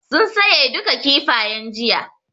Sun saye duka Kifayen jiya